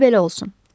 Qoy belə olsun.